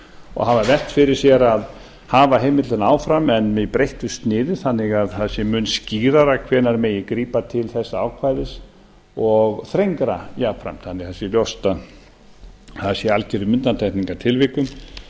og hafa velt fyrir sér hafa heimildina áfram en með breyttu sniði þannig að það sé mun skýrara hvenær megi grípa til þessa ákvæðis og þrengra jafnframt þannig að það sé ljóst að það sé í algjörum undantekningartilvikum